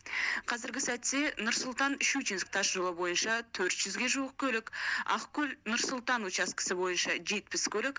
қазіргі сәтте нұр сұлтан щучинск тасжолы бойынша төрт жүзге жуық көлік ақкөл нұр сұлтан учаскесі бойынша жетпіс көлік